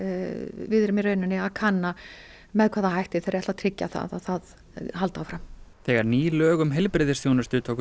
við erum í rauninni að kanna með hvaða hætti þeir ætli að tryggja að það haldi áfram þegar ný lög um heilbrigðisþjónustu tóku